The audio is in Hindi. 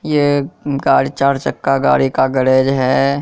ये गाड़ी चार चक्का गाड़ी का गैरेज है।